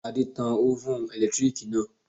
Adé tan ófùn ẹ̀lẹ́tíríkì náà